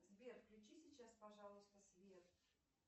сбер включи сейчас пожалуйста свет